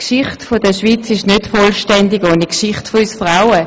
Die Geschichte der Schweiz ist nicht vollständig ohne die Geschichte von uns Frauen.